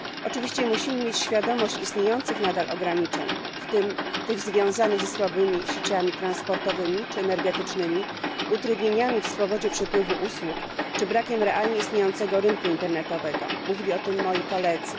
Oczywiście musimy mieć świadomość istniejących nadal ograniczeń, w tym tych związanych ze słabymi sieciami transportowymi czy energetycznymi, utrudnieniami w swobodzie przepływu usług czy brakiem realnie istniejącego rynku internetowego mówili o tym moi koledzy.